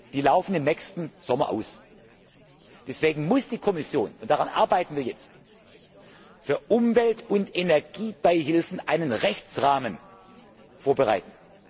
Die laufen im nächsten Sommer aus. Deswegen muss die Kommission und daran arbeiten wir jetzt für Umwelt und Energiebeihilfen einen Rechtsrahmen vorbereiten.